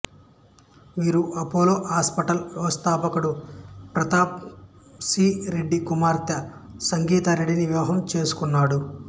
వీరు Apollo hospitals వ్యవస్థాపకుడు Pratap C Reddy కుమార్తె సంగీతా రెడ్డిని వివాహం చేసుకున్నాడు